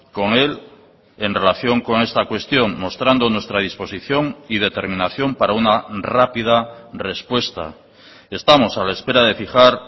con él en relación con esta cuestión mostrando nuestra disposición y determinación para una rápida respuesta estamos a la espera de fijar